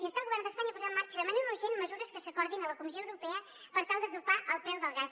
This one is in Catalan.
instar el govern d’espanya a posar en marxa de manera urgent mesures que s’acordin a la comissió europea per tal de topar el preu del gas